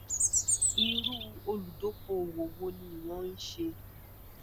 iru oludokoowo wo ni iwo nse